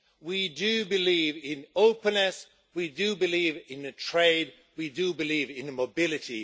We do believe in openness, we do believe in trade, we do believe in mobility.